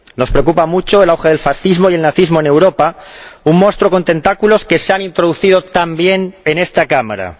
Nos preocupa mucho el auge del fascismo y el nazismo en Europa, un monstruo con tentáculos que se ha introducido también en esta Cámara.